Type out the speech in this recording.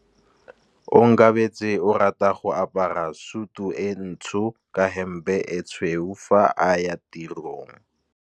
Onkabetse o rata go apara sutu e ntsho ka hempe e tshweu fa a ya tirong.